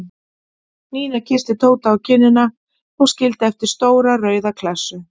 Nína kyssti Tóta á kinnina og skildi eftir stóra rauða klessu.